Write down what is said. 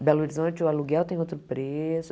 Em Belo Horizonte o aluguel tem outro preço.